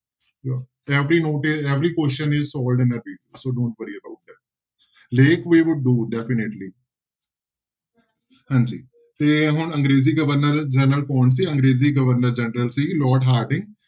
Every note is, every question is so don't worry about that definitely ਹਾਂਜੀ ਤੇ ਹੁਣ ਅੰਗਰੇਜ਼ੀ ਗਵਰਨਰ ਜਨਰਲ ਕੌਣ ਸੀ ਅੰਗਰੇਜ਼ੀ ਗਵਰਨਰ ਜਨਰਲ ਸੀ ਲੋਾਰਡ ਹਾਰਡਿੰਗ।